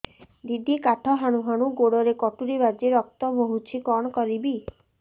ଦିଦି କାଠ ହାଣୁ ହାଣୁ ଗୋଡରେ କଟୁରୀ ବାଜି ରକ୍ତ ବୋହୁଛି କଣ କରିବି